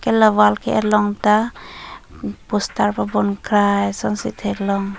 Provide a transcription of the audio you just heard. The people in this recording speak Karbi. la wall ke et along ta poster pabom krai ason si theklong.